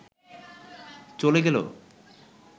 চলে গেল